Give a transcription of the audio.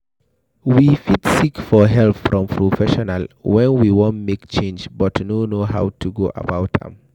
we fit seek for help from professional when we wan make change but no know how to go about am